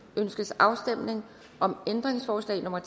ønskes afstemning om ændringsforslag nummer